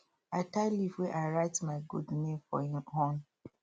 i tie leaf wey i write my goat name for him horn